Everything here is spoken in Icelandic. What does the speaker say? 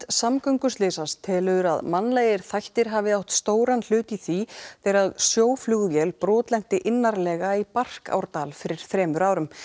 samgönguslysa telur að mannlegir þættir hafi átt stóran hlut í því þegar sjóflugvél brotlenti innarlega í fyrir þremur árum